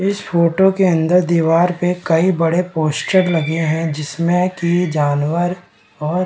इस फोटो के अंदर दीवार पे कई बड़े पोस्टर लगे हैं जिसमें की जानवर और --